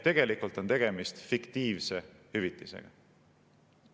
Tegelikult on tegemist fiktiivse hüvitisega.